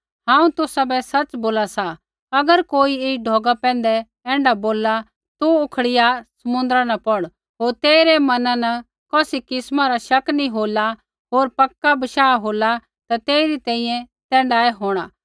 हांऊँ तुसाबै सच़ बोला सा अगर कोई ऐई ढौगा बै ऐण्ढा बोलला तू उखड़िया समुन्द्रा न पौड़ होर तेइरै मना न कौसी किस्मा रा शक नी होला होर पक्का भरोसा होला ता तेइरी तैंईंयैं तैण्ढाऐ होंणा